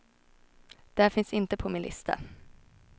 Det finns inte på min lista.